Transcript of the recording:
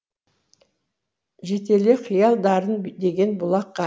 жетеле қиял дарын деген бұлаққа